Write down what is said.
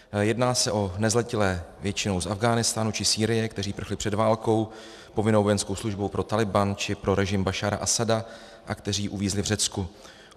Jedná se o nezletilé většinou z Afghánistánu či Sýrie, kteří prchli před válkou, povinnou vojenskou službou pro Tálibán či pro režim Bašára Asada a kteří uvízli v Řecku.